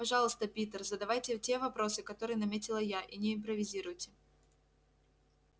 пожалуйста питер задавайте те вопросы которые наметила я и не импровизируйте